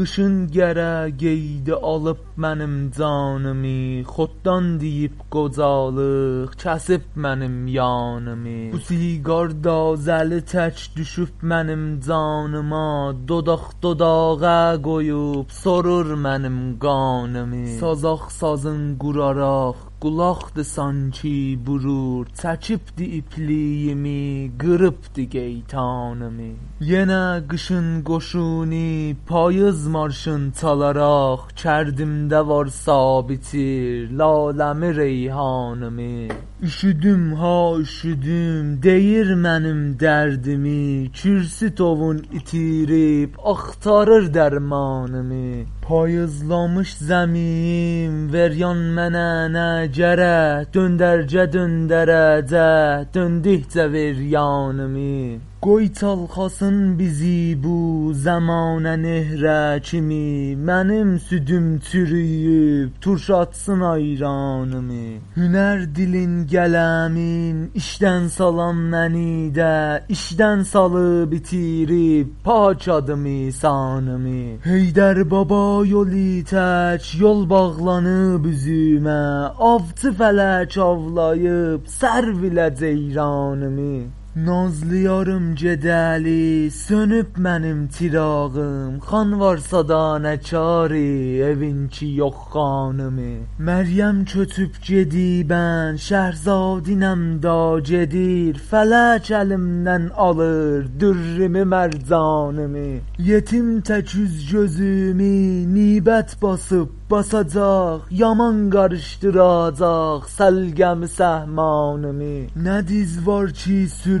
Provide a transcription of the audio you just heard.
قیشین قره قیییدی آلیب منیم جانیمی خورتدان دیییب قوجالیق کسیب منیم یانیمی بو سیگاردا زه لی تک دوشوب منیم جانیما دوداق - دوداقه قویوب سورور منیم قانیمی سازاق سازین قوراراق قولاقدی سانکی بورور چکیبدی ایپلیگیمی قیریبدی قییطانیمی یینه قیشین قوشونی پاییز مارشین چالاراق کردیمده وارسا بیچیر لاله می ریحانیمی اوشودوم ها اوشودوم دیییر منیم دردیمی کورسو تووین ایتیریب آختاریر درمانیمی پاییزلامیش زمی یم وریان منه نه گرک دؤنرگه دؤندره جک دؤندیکجه وریانیمی قوی چالخاسین بیزی بو زمانه یهره کیمی منیم سودوم چورویوب تورشاتسین آیرانیمی هنر دیلین قلمین ایشدن سالان منی ده ایشدن سالیب ایتیریب پاک ادیمی سانیمی حیدربابا یولی تک یول باغلانیب اوزومه آوچی فلک آولاییب سررویله جییرانیمی نازلی یاریم گیده لی سؤنوب منیم چیراغیم خان وارسادا نه کاری ایوین کی یوخ خانیمی مریم کؤچوب گیدیبن شهرزادینم دا گیدیر فلک الیمدن آلیر درریمی مرجانیمی ییتیم تک اوز - گؤزومی نیبت باسیب باساجاق یامان قاریشدیریاجاق سلقه می سهمانیمی